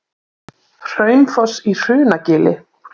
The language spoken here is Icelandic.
Hraunfoss í Hrunagili.